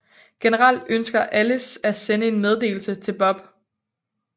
Generelt ønsker Alice at sende en meddelelse til Bob